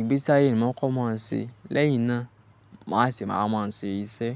Ìgbésí ayé ni mò ń kọ́, mò ń ṣe lẹ́yìn náà mà wa sese wa má ń ṣe iṣẹ́.